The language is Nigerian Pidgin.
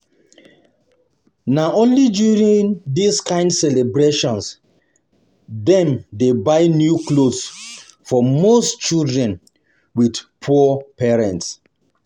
Na only during this kind celebrations dem dey buy new clothes for um um most children with poor parents.